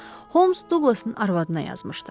Holms Duqlasın arvadına yazmışdı.